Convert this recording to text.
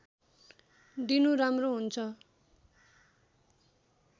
दिनु राम्रो हुन्छ